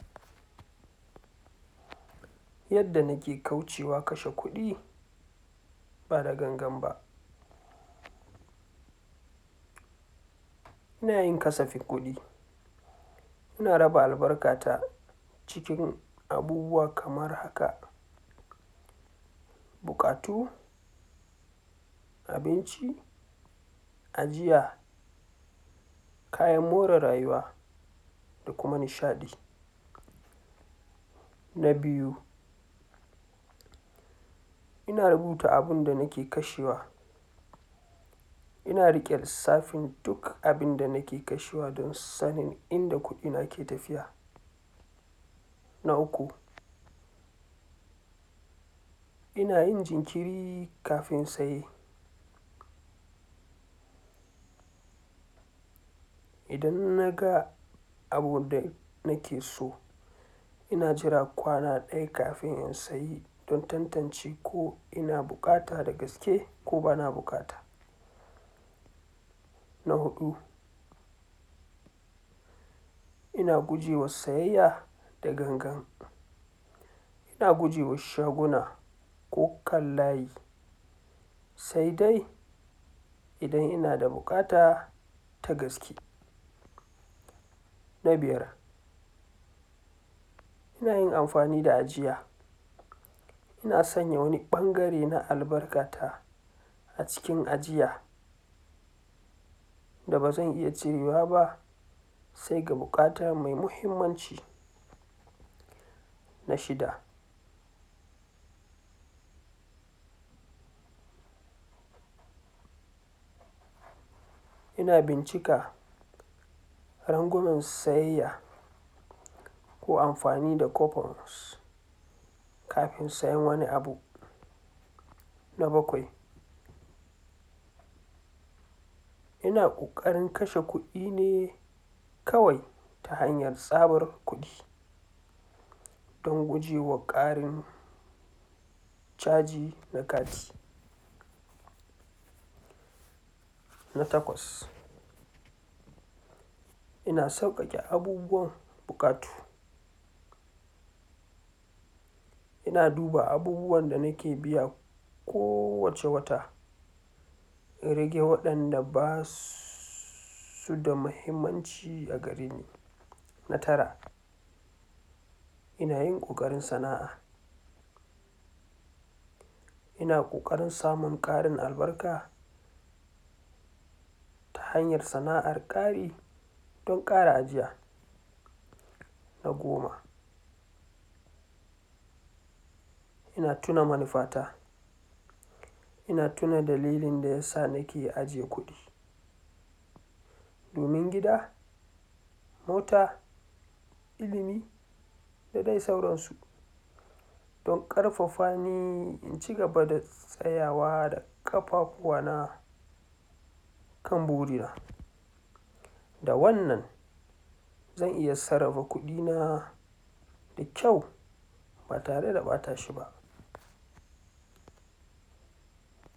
Yadda nake kaucewa kashe kuɗi ba da gangan ba, ina yin kasafin kuɗi ina raba albarkata cikin abubuwa kamar haka: Buƙatu, abinci, ajiya, kayan more rayuwa, da kuma nishaɗi. Na biyu: ina ruta abinda nake kashewa ina riƙe lissafin duk abinda nake kashewa da lissafin inda kuɗina ke tafiya. Na uku: Ina yin jinkiri kafin saye idan naga abunda nake so ina jira kwaana ɗaya kafin in sayi don tantance ko ina buƙata da gaske ko bana buƙata. Na huɗu: Ina gujewa sayayya da gangan, ina gujewa shaguna ko kan layi, sai dai idan ina da buƙata ta gaske. Na biyar: Ina yin amfani da ajiya ina sanya wani ɓangare na albarkata a cikin ajiya da bazan iya cirewa ba, se ga buƙata me muhimmanci. Na shida: Ina bincika rangwamen sayayya ko amfani da coupons kafin sayen wani abu. Na bakwai: Ina ƙoƙarin kashe kuɗi ne kawai ta hanyar tsabar kuɗi don gujewa ƙarin caji na kati. Na takwas: Ina sauƙaƙe abubuwan buƙatu ina duba abubuwan da nake biya kowace wata, in rage waɗanda basu su da mahimmanci a gareni. Na tara: Ina yin ƙoƙarin sana'a ina ƙoƙarin samun ƙarin albarka ta hanyar sana'ar ƙari don ƙara ajiya. Na goma: Ina tuna manufata ina tuna dalilin da yasa nake aje kuɗi domin gida, mota, ilimi, da de sauransu, don ƙarfafa ni in cigaba da tsayawa da ƙafafuwana kan burina, da wannan zan iya sarrafa kuɗina da kyau, ba tare da ɓata shi ba.